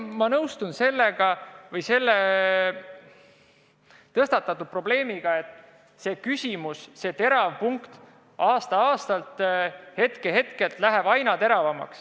Ma nõustun, et tõstatatud probleem, see küsimus aasta-aastalt, hetk-hetkelt läheb aina teravamaks.